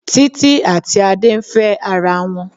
Títí àti Adé ń fẹ́ ara wọn.